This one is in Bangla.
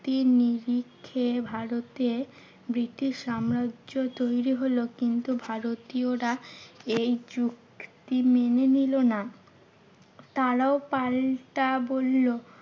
নিরিখে ভারতে ব্রিটিশ সাম্রাজ্য তৈরী হলো। কিন্তু ভারতীয়রা এই যুক্তি মেনে নিলো না। তারাও পাল্টা বললো